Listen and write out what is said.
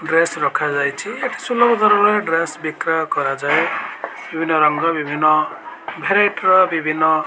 Dress ରଖାଯାଇଚି। ଏଠି ସୁଲଭ ଦରରେ ଡ୍ରେସ ବିକ୍ରୟ କରାଯାଏ ବିଭିନ୍ନ ରଙ୍ଗ ବିଭିନ୍ନ ଭେରାଇଟିର ର ବିଭିନ୍ନ --